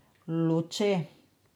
Luče.